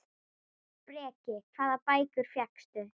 Breki: Hvaða bækur fékkstu?